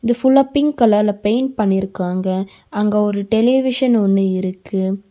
இது ஃபுல்லா பிங்க் கலர்ல பெயிண்ட் பண்ணியிருக்காங்க. அங்க ஒரு டெலிவிஷன் ஒன்னு இருக்கு.